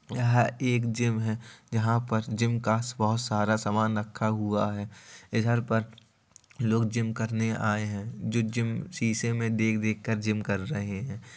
यहाँ एक जिम है। जहाँ पर जिम कास बोहोत सारा सामान रखा हुआ हैं। इधर पर लोग जिम करने आये हैं जो जिम शीशे में देख देख कर जिम कर रहे हैं।